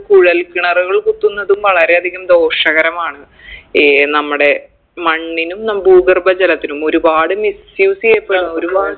കുഴൽ കിണറുകൾ കുത്തുന്നതും വളരെ അധികം ദോഷകരമാണ് ഈ നമ്മടെ മണ്ണിനും ഭൂഗർഭ ജലത്തിനും ഒരുപാട് misuse ചെയ്യപ്പെടുന്ന് ഒരുപാട്